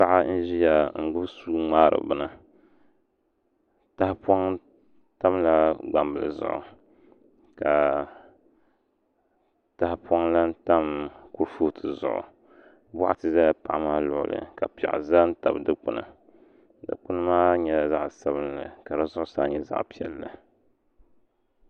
Paɣa n ʒiya n gbubi suu ŋmaari bini tahapoŋ tamla gbambili zuɣu ka tahapoŋ lahi tam kuripooti zuɣu boɣati ʒɛla paɣa maa luɣuli ka piɛɣu ʒɛ n tabi dikpuni dikpuni maa nyɛla zaɣ sabinli ka di zuɣusaa nyɛ zaɣ piɛlli